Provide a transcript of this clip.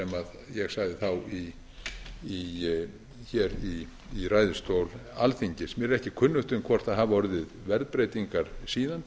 ég sagði þá hér í ræðustól alþingis mér er ekki kunnugt um hvort það hafi orðið verðbreytingar síðan